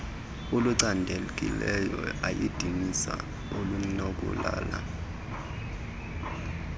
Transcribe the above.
olucandekileyo ayadinisa olunokulala